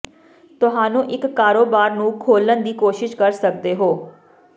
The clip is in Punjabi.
ਤੁਹਾਨੂੰ ਇੱਕ ਕਾਰੋਬਾਰ ਨੂੰ ਖੋਲ੍ਹਣ ਦੀ ਕੋਸ਼ਿਸ਼ ਕਰ ਸਕਦੇ ਹੋ